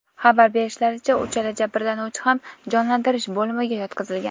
Xabar berishlaricha, uchala jabrlanuvchi ham jonlantirish bo‘limiga yotqizilgan.